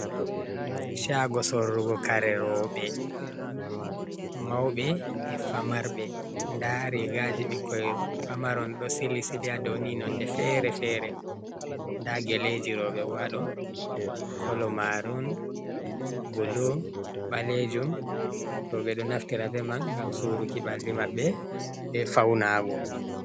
Shago sorrugo kare roɓe, mauɓe e famarɓe, nɗa rigaji ɓikkoi pamaron, ɗo sili sili ha dou ni, nonde fere-fere. Nɗa geleji roɓe ɓo haɗo kolomarun, bulo balejum, roɓe do naftira ɓeman ngam suruki ɓalli maɓɓe ɓe fauna go.